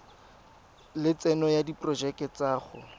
lotseno le diporojeke tsa go